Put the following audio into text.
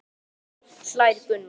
Nei, alls ekki hlær Gunnar.